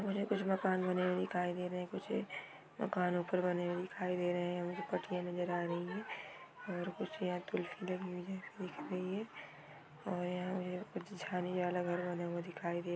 मुझे कुछ मकान बने हुए दिखाई दे रहे है कुछ मकानों पे बने हुए दिखाई दे रहे है कुछ पटरियां नजर आ रही है। दिखाई दे --